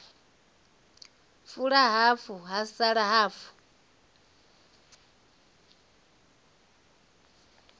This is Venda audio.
fula hafu ha sala hafu